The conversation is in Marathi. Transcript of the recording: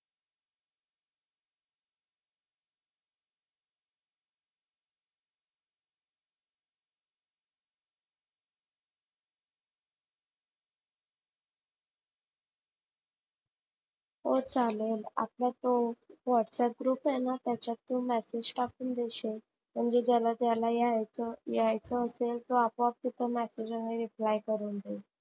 हो चालेल. आपला तो whats app group आहेना त्याच्यात तू msg टाकून देशील म्हणजे ज्याला ज्याला यायचं आहेना तो आपोप तिथ replay करून देईल.